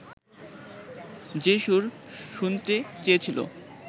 যে-সুর শুনতে চেয়েছিলো